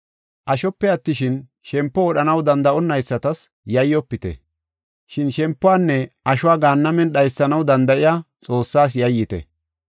Ashope attishin, shempo wodhanaw danda7onaysatas yayyofite. Shin shempuwanne ashuwa gaannamen dhaysanaw danda7iya Xoossaas yayyite.